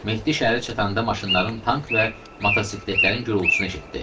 Mehdi şəhərə çatanda maşınların tank və motosikletlərin gurultusunu eşitdi.